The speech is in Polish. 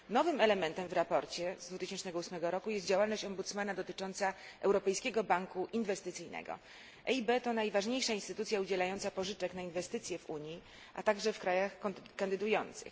Nowym elementem w sprawozdaniu z 2008 roku jest działalność rzecznika dotycząca Europejskiego Banku Inwestycyjnego. EIB to najważniejsza instytucja udzielająca pożyczek na inwestycje w Unii, a także w krajach kandydujących.